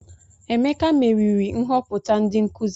Emeka meriri nhoputa ndi nkuzi.